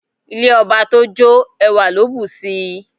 Ilé ọba tó jó, ẹwà ló bù sí i.